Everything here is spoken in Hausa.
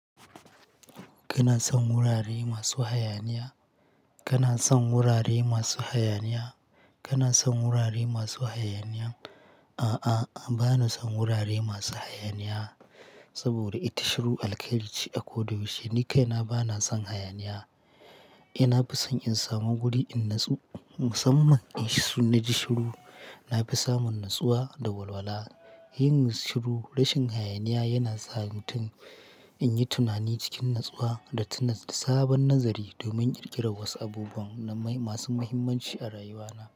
Kana son wurare masu hayaniya? Kana son wurare masu hayaniya? Kana son wurare masu hayaniya? A'a, bana son wurare masu hayaniya saboda ita shiru alƙairice ako da yaushe, Ni kai na bana son hayaniya. Ina fi son in samu guri in natsu. Musamman in shiru, na fi samun natsuwa da walwala. Yin shiru rashin hayaniya yana sa mutum yayi tunani cikin natsuwa da ta sami sabon nazari domin ƙirƙirar wasu abubuwan masu muhimmanci a rayuwa na.